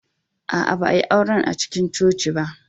Aa, ba a'yi auren a'cikin coci ba.